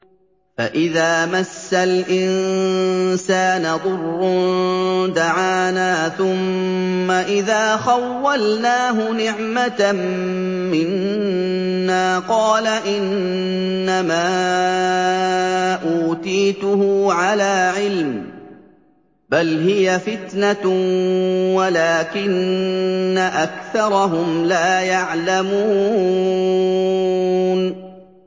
فَإِذَا مَسَّ الْإِنسَانَ ضُرٌّ دَعَانَا ثُمَّ إِذَا خَوَّلْنَاهُ نِعْمَةً مِّنَّا قَالَ إِنَّمَا أُوتِيتُهُ عَلَىٰ عِلْمٍ ۚ بَلْ هِيَ فِتْنَةٌ وَلَٰكِنَّ أَكْثَرَهُمْ لَا يَعْلَمُونَ